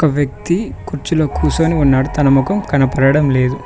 ఒక వ్యక్తి కుర్చీలో కూర్చొని ఉన్నాడు తన ముఖం కనబడడం లేదు.